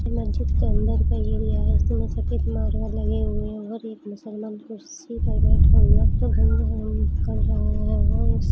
उस मस्जिद के अंदर का लिया है। इस सीन मे सफेद मार्बल लगे हुए है और एक मुसलमान कुर्सी पर बेठा हुआ ओ कर रहा है और उस --